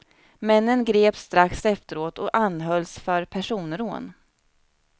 Männen greps strax efteråt och anhölls för personrån.